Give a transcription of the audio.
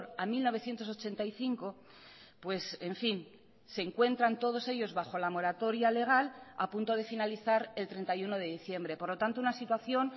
a mil novecientos ochenta y cinco pues en fin se encuentran todos ellos bajo la moratoria legal a punto de finalizar el treinta y uno de diciembre por lo tanto una situación